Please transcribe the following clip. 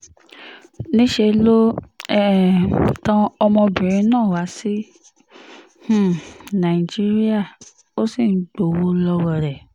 níṣẹ́ ló um tan ọmọbìnrin náà wá sí um nàìjíríà ó sì ń gbowó lọ́wọ́ rẹ̀